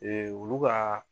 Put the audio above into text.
olu ka